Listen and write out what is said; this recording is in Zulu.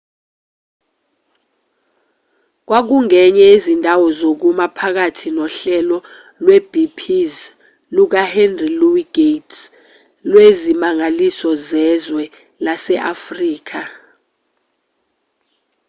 kwakungenye yezindawo zokuma phakathi nohlelo lwepbs lukahenry louis gates lwezimangaliso zezwe lase-afrika